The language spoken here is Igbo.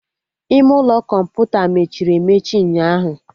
Ime ụlọ kọmputa mechiri emechi ụnyaahụ